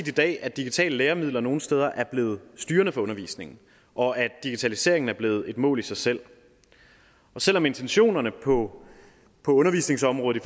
i dag at digitale læremidler nogle steder er blevet styrende for undervisningen og at digitaliseringen er blevet et mål i sig selv selv om intentionerne på undervisningsområdet